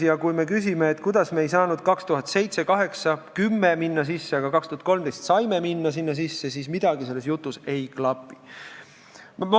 Ja kui me ei saanud 2007, 2008 või 2010 sinna sisse minna, aga 2013 saime, siis midagi selles jutus ei klapi.